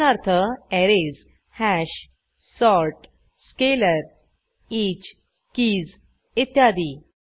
उदाहरणार्थ arrays hash sort scalar each keys इत्यादी